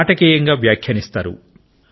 నాటకీయంగా వ్యాఖ్యానిస్తారు